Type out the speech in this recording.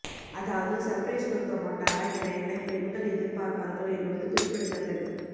அதாவது சர்ப்ரைஸ் கொடுக்க மாட்டாரா என என பெண்கள் எதிர்பார்பார்கள் என்பது குறிப்பிடத்தக்கது